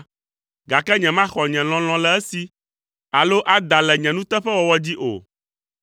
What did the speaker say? gake nyemaxɔ nye lɔlɔ̃ le esi, alo ada le nye nuteƒewɔwɔ dzi o.